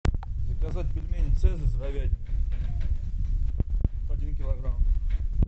заказать пельмени цезарь с говядиной один килограмм